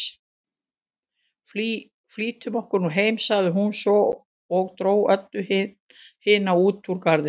Flýtum okkur nú heim, sagði hún svo og dró Öbbu hina út úr garðinum.